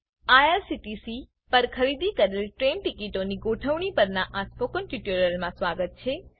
IRCTC પર ખરીદી કરેલ ટ્રેઈન ટીકીટોની ગોઠવણી પરનાં આ સ્પોકન ટ્યુટોરીયલમાં સ્વાગત છે